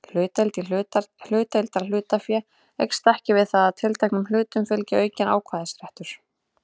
Hlutdeild í heildarhlutafé eykst ekki við það að tilteknum hlutum fylgi aukinn atkvæðisréttur.